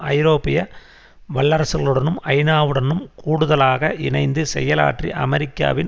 ஐரோப்பிய வல்லரசுகளுடனும் ஐநாவுடனும் கூடுதலாக இணைந்து செயலாற்றி அமெரிக்காவின்